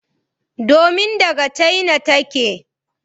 Domin daga China take.